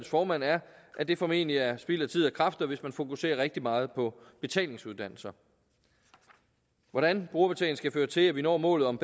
formand er at det formentlig er spild af tid og kræfter hvis man fokuserer rigtig meget på betalingsuddannelser hvordan brugerbetaling skal føre til at vi når målet om